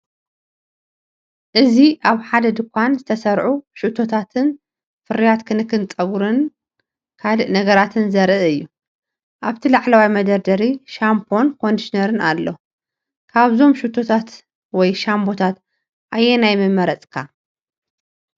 እዚ ኣብ ሓደ ድኳን ዝተሰርዑ ሽታታትን ፍርያት ክንክን ጸጉርን ካልእ ነገራትን ዘርኢ እዩ። ኣብቲ ላዕለዋይ መደርደሪ ሻምፖን ኮንዲሽነርን ኣሎ። ካብዞም ሽታታት ወይ ሻምቦታት ኣየናይ ምመረጽካ?